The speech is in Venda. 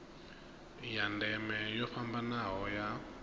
ya ndeme yo fhambanaho ya